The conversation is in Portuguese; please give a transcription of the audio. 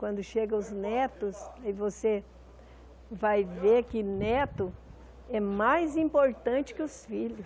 Quando chegam os netos, aí você vai ver que neto é mais importante que os filhos.